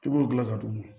I b'o gilan ka d'u ma